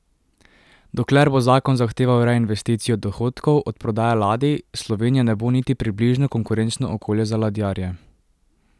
Dokler bo zakon zahteval reinvesticijo dohodkov od prodaje ladij, Slovenija ne bo niti približno konkurenčno okolje za ladjarje.